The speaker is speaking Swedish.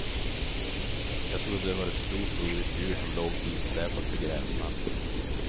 Jag trodde det var en stort blodigt djur som låg hitsläpat på gräsmattan.